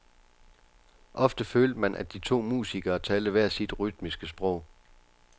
Ofte følte man, at de to musikere talte hver sit rytmiske sprog.